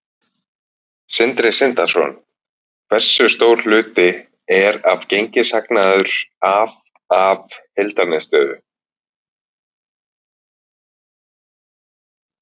Sindri Sindrason: Hversu stór hluti er gengishagnaður af, af heildarniðurstöðu?